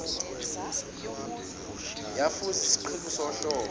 yafuza isiqhingi sohlobo